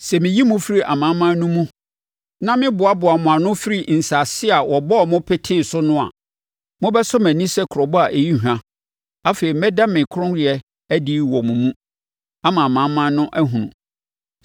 Sɛ meyi mo firi amanaman no mu na meboaboa mo ano firi nsase a wɔbɔɔ mo petee so no a, mobɛsɔ mʼani sɛ krobo a ɛyi hwa, afei mɛda me kronnyɛ adi wɔ mo mu ama amanaman no ahunu.